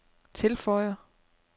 tilføjer